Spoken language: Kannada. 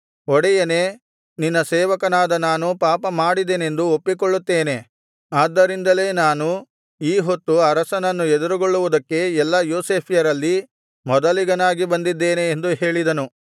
ಒಡೆಯನೇ ನಿನ್ನ ಸೇವಕನಾದ ನಾನು ಪಾಪಮಾಡಿದೆನೆಂದು ಒಪ್ಪಿಕೊಳ್ಳುತ್ತೇನೆ ಆದ್ದರಿಂದಲೆ ನಾನು ಈ ಹೊತ್ತು ಅರಸನನ್ನು ಎದುರುಗೊಳ್ಳುವುದಕ್ಕೆ ಎಲ್ಲಾ ಯೋಸೇಫ್ಯರಲ್ಲಿ ಮೊದಲಿಗನಾಗಿ ಬಂದಿದ್ದೇನೆ ಎಂದು ಹೇಳಿದನು